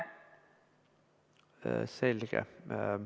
Selge.